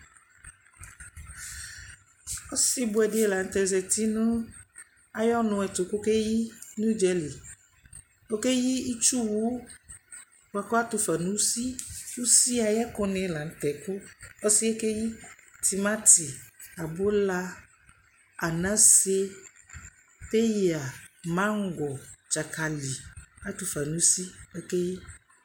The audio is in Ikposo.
Ɔsɩbʋɛ dɩ la nʋ tɛ zati nʋ ayʋ ɔnʋ ɛtʋ kʋ ɔkeyi nʋ ʋdza li Ɔkeyi itsuwʋ bʋa kʋ atʋ fa nʋ usi Usi ayʋ ɛkʋnɩ la nʋ tɛ kʋ ɔsɩ yɛ keyi tɩmatɩ, abʋla, anase, peyǝ, maŋgɔ, dzakalɩ Atʋ fa nʋ usi kʋ ɔkeyi